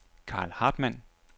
Carl Hartmann